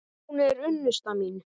Hún er unnusta mín!